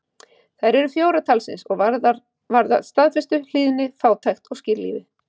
Þær eru fjórar talsins og varða staðfestu, hlýðni, fátækt og skírlífi.